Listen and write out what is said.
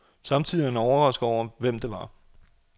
Samtidig er han overrasket over, hvem det var.